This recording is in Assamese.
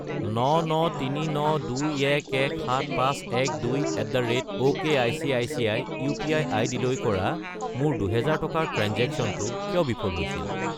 99392117512@okicici UPI. আইডিলৈ কৰা মোৰ 2000 টকাৰ ট্ৰেঞ্জেক্শ্য়নটো কিয় বিফল হৈছিল?